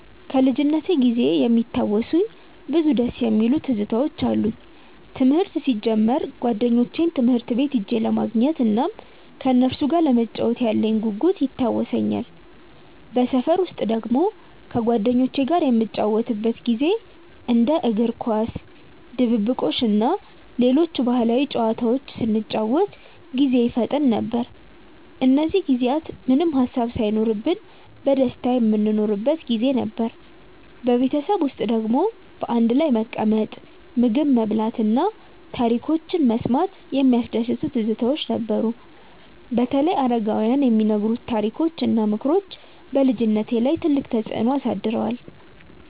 ከልጅነቴ ጊዜ የሚያስታውሱኝ ብዙ ደስ የሚሉ ትዝታዎች አሉኝ። ትምህርት ሲጀምር ጓደኞቼን ትምህርት ቤት ሄጄ ለማግኘት እናም ከነሱ ጋር ለመጫወት ያለኝ ጉጉት ይታወሰኛል። በሰፈር ውስጥ ደግሞ ከጓደኞቼ ጋር የምንጫወትበት ጊዜ እንደ እግር ኳስ፣ ድብብቆሽ እና ሌሎች ባህላዊ ጨዋታዎች ስንጫወት ጊዜ ይፈጠን ነበር። እነዚህ ጊዜያት ምንም ሃሳብ ሳይኖርብን በደስታ የምንኖርበት ጊዜ ነበር። በቤተሰብ ውስጥ ደግሞ በአንድ ላይ መቀመጥ፣ ምግብ መብላት እና ታሪኮች መስማት የሚያስደስቱ ትዝታዎች ነበሩ። በተለይ አረጋውያን የሚነግሩት ታሪኮች እና ምክሮች በልጅነቴ ላይ ትልቅ ተፅዕኖ አሳድረዋል።